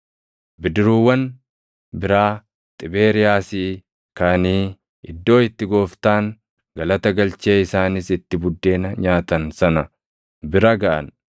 Bidiruuwwan biraa Xibeeriyaasii kaʼanii iddoo itti Gooftaan galata galchee isaanis itti buddeena nyaatan sana bira gaʼan.